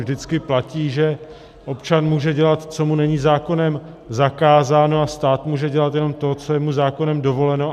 Vždycky platí, že občan může dělat, co mu není zákonem zakázáno, a stát může dělat jenom to, co je mu zákonem dovoleno.